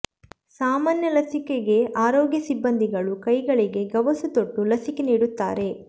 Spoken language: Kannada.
ಸಾಮಾನ್ಯ ಲಸಿಕೆಗೆ ಆರೋಗ್ಯ ಸಿಬ್ಬಂದಿಗಳು ಕೈಗಳಿಗೆ ಗವಸು ತೊಟ್ಟು ಲಸಿಕೆ ನೀಡುತ್ತಾರೆ